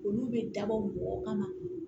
Olu bɛ dabɔ mɔgɔ kama